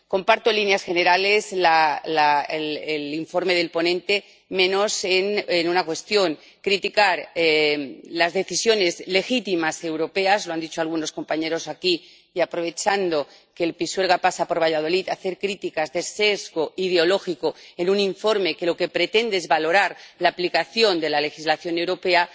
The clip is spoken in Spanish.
Comparto en líneas generales el informe del ponente, menos en una cuestión criticar las decisiones legítimas europeas —lo han dicho algunos compañeros aquí— y, aprovechando que el Pisuerga pasa por Valladolid, hacer críticas de sesgo ideológico en un informe que lo que pretende es valorar la aplicación de la legislación europea,